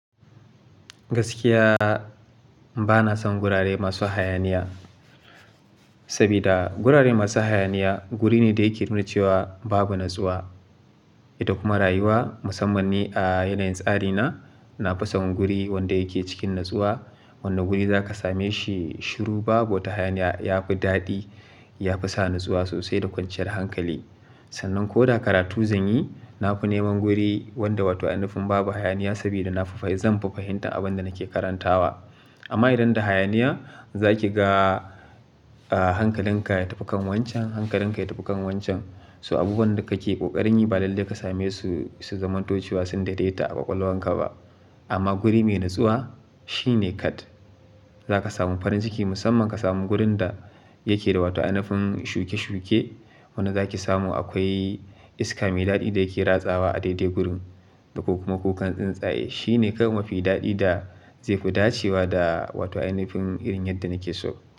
Gaskiya bana son gurare masu hayaniya, saboda gurare masu hayaniya guri ne da yake nuna cewa babu natsuwa. Ita kuma rayuwa musamman ni a yanayin tsari na, na fi son guri wanda yake cikin natsuwa. Wanda guri za ka same shi shiru babu wata hayaniya yafi daɗi, yafi sa natsuwa sosai da kwanciyar hankali. Sannan ko da karatu zan yi, na fi neman guri wanda wata inufun babu hayaniya saboda na fa fa zan fahimta abin da nake karantawa. Amma idan da hayaniya za ki ga, a, hankalinka ya tafi kan wancan, hankalinka ya tafi kan wancan. So abubuwan da kake ƙoƙarin yi ba lalle ka same su, su zamanto cewa sun dade ta a ƙwaƙwalwar ka ba. Amma guri mai natsuwa shine kad. Za ka samu farin jiki musamman ka samu gurin da yake da wata inufun shuke-shuke. Wanda za ki samu akwai iska mai daɗi da yake ratsawa a daidai gurin, da kuma kukan tsuntsaye. Shine kam mafi daɗi da zai fi dacewa da wata inufun irin yadda nake so.